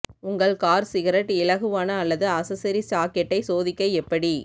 உங்கள் car cigarette இலகுவான அல்லது அசெஸரி சாக்கெட்டை சோதிக்க எப்படி